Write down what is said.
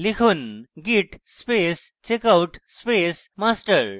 লিখুন: git space checkout space master